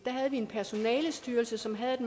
havde vi en personalestyrelse som havde